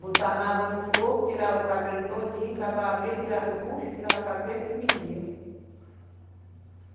Botava água no fogo, tirava o cabelo todinho, acabava abrindo, tirava o bucho, tirava a cabeça e vendia.